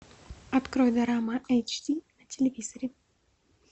открой дорама эйч ди на телевизоре